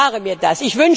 Ich spare mir das.